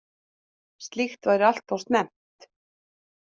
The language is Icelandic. Slíkt væri alltof snemmt